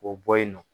K'o bɔ yen nɔ